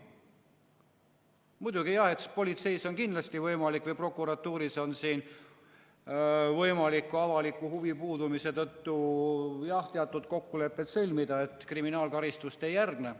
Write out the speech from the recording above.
Muidugi jah, eks politseis või prokuratuuris on kindlasti võimalik avaliku huvi puudumise tõttu teatud kokkulepped sõlmida, nii et kriminaalkaristust ei järgne.